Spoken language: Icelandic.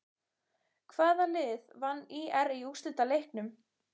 Hvaða lið vann ÍR í úrslitaleiknum?